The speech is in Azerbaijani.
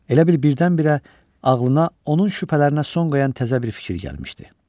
Elə bil birdən-birə ağlına onun şübhələrinə son qoyan təzə bir fikir gəlmişdi.